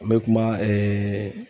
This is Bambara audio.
An be kuma ɛɛ